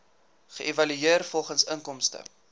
geëvalueer volgens inkomste